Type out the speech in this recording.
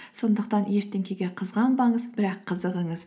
сондықтан ештеңеге қызғанбаңыз бірақ қызығыңыз